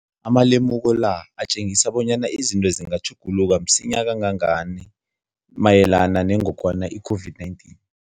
Amalemuko la atjengisa bonyana izinto zingatjhuguluka msinyana kangangani mayelana nengogwana i-COVID-19.